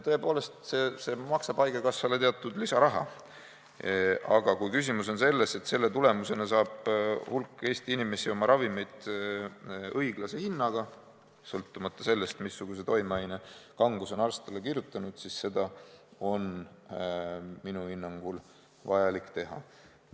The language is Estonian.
See maksab tõesti haigekassale teatud lisaraha, aga kui küsimus on selles, et selle tulemusena saab hulk Eesti inimesi oma ravimid õiglase hinnaga, sõltumata sellest, missuguse toimeaine kanguse on arst talle kirjutanud, siis seda on minu hinnangul vaja teha.